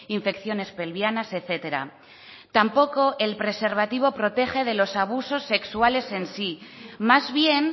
infecciones pelviana etcétera tampoco el preservativo protege de los abusos sexuales en sí más bien